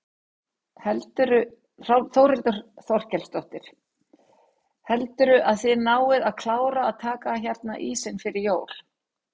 Þórhildur Þorkelsdóttir: Heldurðu að þið náið að klára að taka hérna ísinn fyrir jól?